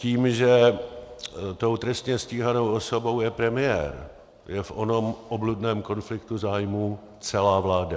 Tím, že tou trestně stíhanou osobou je premiér, je v onom obludném konfliktu zájmů celá vláda.